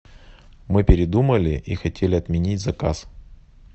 мы передумали и хотели отменить заказ